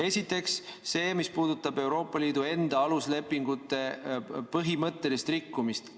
Esiteks see, mis puudutab Euroopa Liidu enda aluslepingute põhimõttelist rikkumist.